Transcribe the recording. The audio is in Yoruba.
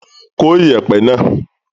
Kó ìyẹ̀pẹ̀ náà.